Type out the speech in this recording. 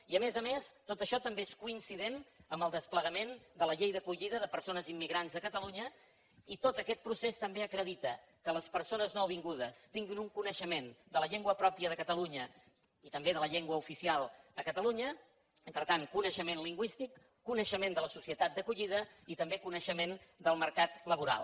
i a més a més tot això també és coincident amb el desplegament de la llei d’acollida de persones immigrants de catalunya i tot aquest procés també acredita que les persones nouvingudes tinguin un coneixement de la llengua pròpia de catalunya i també de la llengua oficial a catalunya i per tant coneixement lingüístic coneixement de la societat d’acollida i també coneixement del mercat laboral